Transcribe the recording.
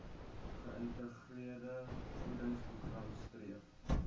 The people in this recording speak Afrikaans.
geïntegreerde voedingsprogram streef